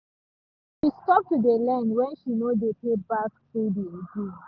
she stop to dey lend when she no dey pay back steady again